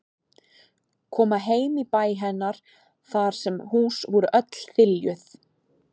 Koma heim í bæ hennar þar sem hús voru öll þiljuð.